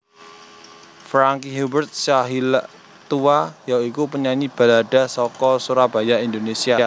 Franky Hubert Sahilatua ya iku penyanyi balada saka Surabaya Indonésia